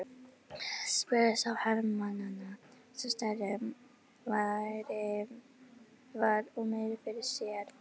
spurði sá hermannanna sem stærri var og meiri fyrir sér.